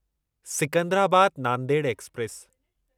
Secunderabad Nanded express